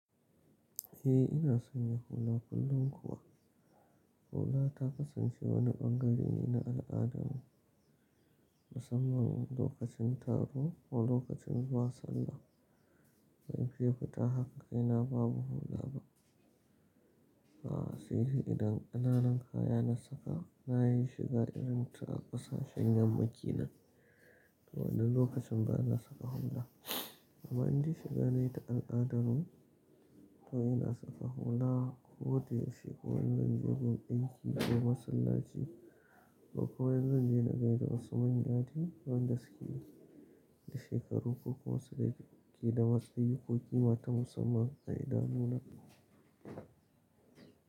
Eh ina son yin hula kullum kuwa hula ta kasance wani bangare ne na al'adarmu musamman lokacin taro ko lokacin zuwa sallah. Ban fiye fita haka kaina babu hula ba. A sai idan ƙananan kaya na saka na yi shiga irin ta ƙasashen yamma kenan to wannan lokacin ba na saka hula amma in de shiga na yi ta al'adar mu to ina saka hula ko da yaushe ko in zanje gun aiki ko masallaci ko kuma in zan je na gaida wasu manya dai wanda suke da shekaru ko kuma suke da matsayi ko ƙima ta musamman ga idanuna.